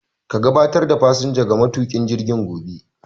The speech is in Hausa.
Ka gabatar da fasinjan ga matuƙin jirgin gobe.